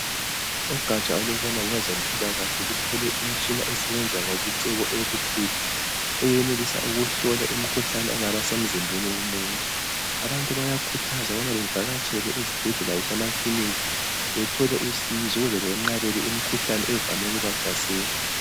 Ugatsha olubona ngezempilakahle luthole imitshina esebenza ngobuciko obukhulu eyenelisa ukuhlola imikhuhlane engabe isemzimbeni womuntu abantu bayakhuthazwa ukubana bavakatshele ezibhedlela lasemakilinika bethole usizo ukuze benqabele imikhuhlane evame ukubahlasela.